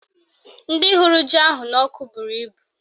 Ndị hụrụ ji ahụ n'ọkụ bụrụ ibu